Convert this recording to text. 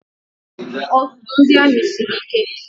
Ọzụzụ ndị amị siri ike.